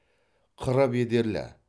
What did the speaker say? қыры бедерлі